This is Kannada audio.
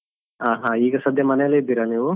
ಹ ಹಾ ಈಗ ಸದ್ಯ ಮನೆಯಲ್ಲಿ ಇದ್ದೀರಾ ನೀವು?